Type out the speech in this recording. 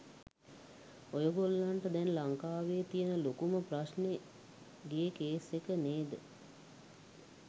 ඔයගොල්ලන්ට දැන් ලංකාවේ තියෙන ලොකුම ප්‍රශ්නේ ගේ කේස් එක නේද?